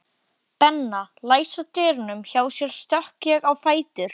Benna læsa dyrunum hjá sér stökk ég á fætur.